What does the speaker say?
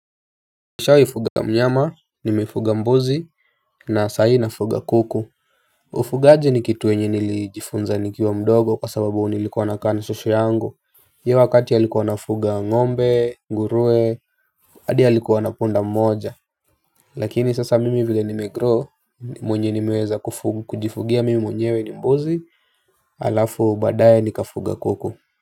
Nishawai fuga mnyama, nimefuga mbuzi, na sai nafuga kuku. Ufugaji ni kitu yenye nilijifunza nikiwa mdogo kwa sababu nilikuwa nakaa na shosho yangu. Hiyo wakati alikuwa anafuga ngombe, nguruwe, hadi alikuwa na punda mmoja. Lakini sasa mimi vile nimegrow, mwenye nimeweza kujifugia mimi mwenyewe ni mbuzi, halafu baadaye nikafuga kuku.